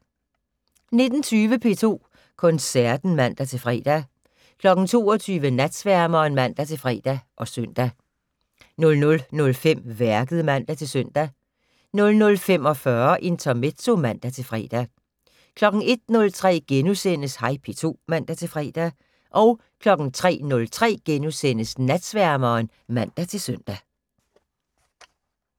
19:20: P2 Koncerten (man-fre) 22:00: Natsværmeren (man-fre og søn) 00:05: Værket (man-søn) 00:45: Intermezzo (man-fre) 01:03: Hej P2 *(man-fre) 03:03: Natsværmeren *(man-søn)